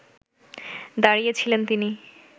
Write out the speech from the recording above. দাঁড়িয়ে ছিলেন তিনি